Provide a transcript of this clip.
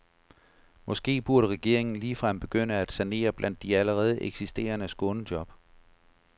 Måske burde regeringen ligefrem begynde med at sanere blandt de allerede eksisterende skånejob.